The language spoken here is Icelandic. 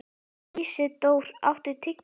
Ísidór, áttu tyggjó?